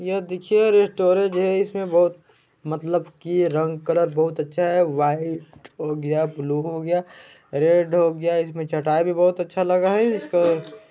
यह देखिए स्टोरेज हे इसमें बहुत मतलब की रंग कलर बहुत अच्छा हे वाइट हो गया ब्लू हो गया रेड हो गया इसमें चटाई भी बहुत अच्छा लगा हे इसका --